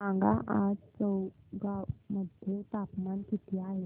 सांगा आज चौगाव मध्ये तापमान किता आहे